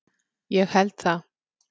Ég held það.